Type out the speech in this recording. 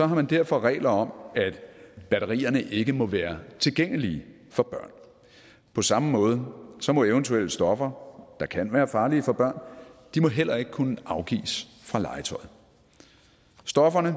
man derfor regler om at batterierne ikke må være tilgængelige for børn på samme måde må eventuelle stoffer der kan være farlige for børn heller ikke kunne afgives fra legetøjet stofferne